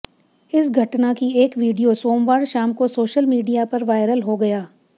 इस घटना की एक वीडियो सोमवार शाम को सोशल मीडिया पर वायरल हो गया